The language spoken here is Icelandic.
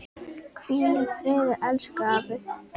Hvíl í friði elsku afi.